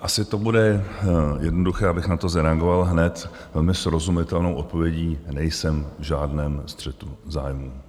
Asi to bude jednoduché, abych na to zareagoval hned velmi srozumitelnou odpovědí - nejsem v žádném střetu zájmů.